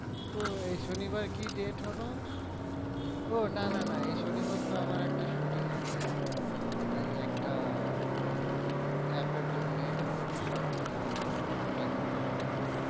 ওই শনি বার কি date হলো? ও না না না এ শনি বার তো আমার একটা shooting আছে এই একটা app এর জন্যে short film আছে ওটা shoot এ যেতে হবে আমায়।